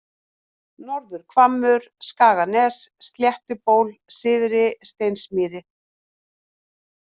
Norður-Hvammur, Skaganes, Sléttuból, Syðri-Steinsmýri